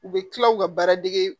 U bɛ tila u ka baara dege